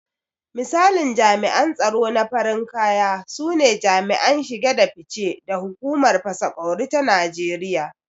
Misalin jami’an tsaro na farin kaya sune jami'an shige da fice da hukumar fasa ƙwauri ta Najeriya.